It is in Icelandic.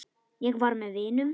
Ég var með vinum.